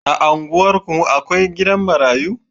A unguwarku mu akwai gidan marayu